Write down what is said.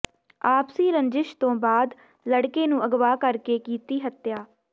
ਆਪਸੀ ਰੰਜਿਸ਼ ਤੋਂ ਬਾਅਦ ਲੜਕੇ ਨੂੰ ਅਗਵਾ ਕਰ ਕੇ ਕੀਤੀ ਹੱਤਿਆ